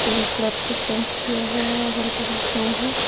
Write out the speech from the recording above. Colour से paint किया हुआ है अगल बगल पेड़ है।